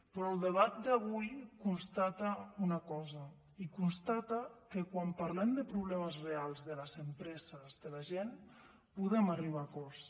però el debat d’avui constata una cosa i constata que quan parlem de problemes reals de les empreses de la gent podem arribar a acords